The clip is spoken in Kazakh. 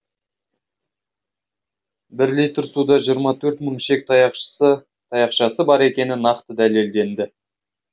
бір литр суда жиырма төрт мың ішек таяқшасы бар екені нақты дәлелденді